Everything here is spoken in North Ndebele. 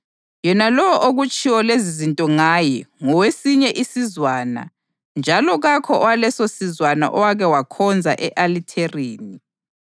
Yena lowo okutshiwo lezizinto ngaye ngowesinye isizwana njalo kakho owalesosizwana owake wakhonza e-alithareni.